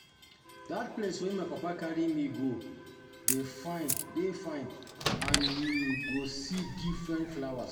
Dat place where my papa carry me go dey fine dey fine and you go see different flowers